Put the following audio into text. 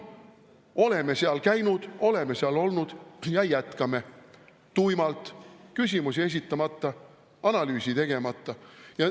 Oleme seal käinud, oleme seal olnud ja jätkame – tuimalt, küsimusi esitamata, analüüsi tegemata.